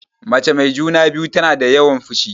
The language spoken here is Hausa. Mace mai juna-biyu tana da yawan fushi.